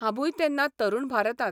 हांबूय तेन्ना 'तरुण भारतात'.